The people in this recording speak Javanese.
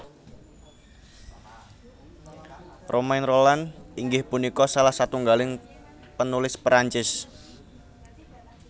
Romain Rolland inggih punika salah satunggaling penulis Perancis